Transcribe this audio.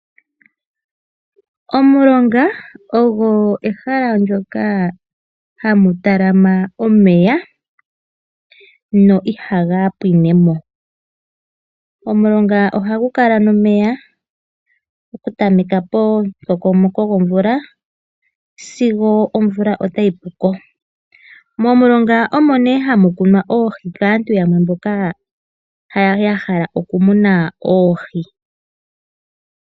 Omulonga ogo ehala ndyoka hamu talama omeya na ihaga pwine mo. Omulonga ohagu kala nomeya pomukokomoko gomvula sigo omvula otayi pu ko. Momulonga omo nduno hamu kunwa oohi kaantu mboka ya hala okumuna oohi.